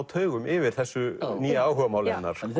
taugum yfir þessu nýja áhugamáli hennar þannig